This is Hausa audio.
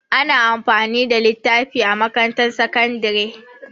Ana amfani da littafi a makarantar sakandare.